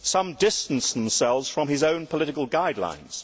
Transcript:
Some distanced themselves from his own political guidelines.